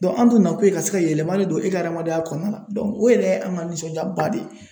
an dun na kun ye ka se ka yɛlɛma ne don e ka hadamadenya kɔnɔna na o yɛrɛ ye an ka nisɔndiyaba de ye .